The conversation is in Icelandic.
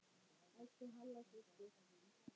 Elsku Halla systir.